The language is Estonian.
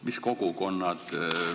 Mis kogukonnad?